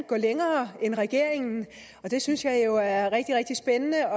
gå længere end regeringen og det synes jeg jo er rigtig rigtig spændende jeg